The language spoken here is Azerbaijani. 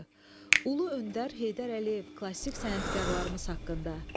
Ulu öndər Heydər Əliyev klassik sənətkarlarımız haqqında.